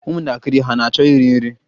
Ụmụntakịrị hà na-achọ iri nri?